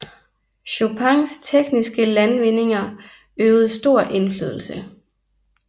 Chopins tekniske landvindinger øvede stor indflydelse